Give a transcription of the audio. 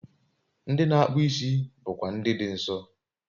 Ndị na-akpụ isi bụkwa Ndị Dị Nsọ